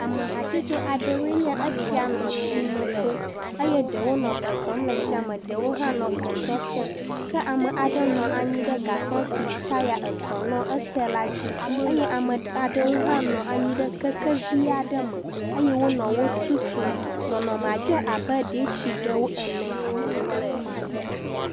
Ame hatsotso aɖewoe nye esia nɔ tsi me tom eye ɖewo nɔ zɔzɔm le tsia me, ɖewo hã nɔ gasɔ tem ke ame aɖe nɔ anyi ɖe gasɔ si taya etɔ̃ nɔ ete la dzi ye ame aɖewo hã nɔ anyi ɖe kekevi aɖe me eye wonɔ wo tutum. Nɔnɔmea dze abe ɖee tsi ɖe wo ene..